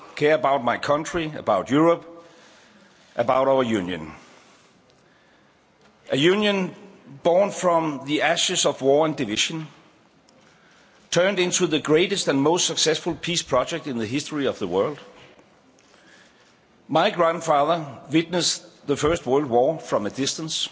I care about my country, about Europe, about our Union a Union born from the ashes of war and division turned into the greatest and most successful peace project in the history of the world. My grandfather witnessed the First World War from a distance.